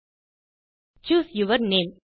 choose your username